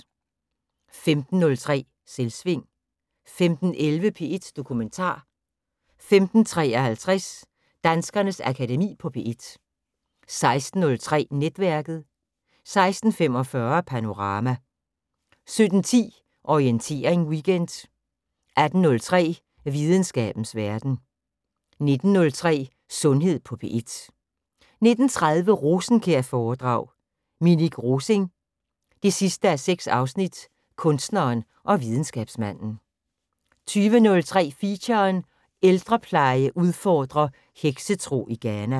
15:03: Selvsving 15:11: P1 Dokumentar 15:53: Danskernes Akademi på P1 16:03: Netværket 16:45: Panorama 17:10: Orientering Weekend 18:03: Videnskabens Verden 19:03: Sundhed på P1 19:30: Rosenkjær-foredrag: Minik Rosing 6:6 - Kunstneren og videnskabsmanden 20:03: Feature: Ældrepleje udfordrer heksetro i Ghana